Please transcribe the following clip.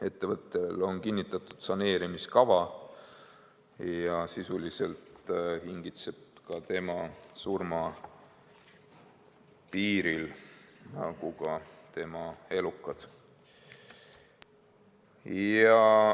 Ettevõttel on kinnitatud saneerimiskava ja sisuliselt hingitseb ta surma piiril nagu tema elukadki.